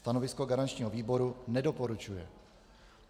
Stanovisko garančního výboru: nedoporučuje.